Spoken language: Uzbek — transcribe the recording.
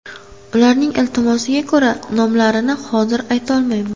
Ularning iltimosiga ko‘ra, nomlarini hozir aytolmayman.